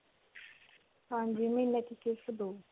ਹਾਂਜੀ. ਮਹੀਨੇ 'ਚ ਸਿਰਫ ਦੋ.